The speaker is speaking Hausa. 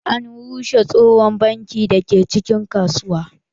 An rushe tsohon banki da ke cikin kasuwa.